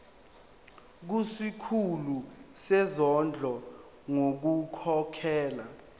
kusikhulu sezondlo ngokukhokhela